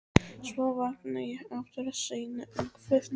Svo vakna ég aftur seinna um kvöldið.